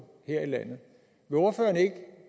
her i landet vil ordføreren ikke